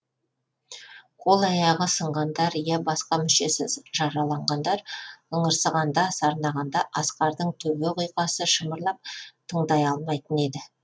қолы аяғы сынғандар я басқа мүшесі жараланғандар ыңырсығанда сарнағанда асқардың төбе құйқасы шымырлап тыңдай алмайтын еді